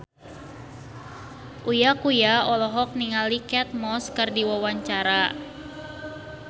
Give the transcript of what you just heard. Uya Kuya olohok ningali Kate Moss keur diwawancara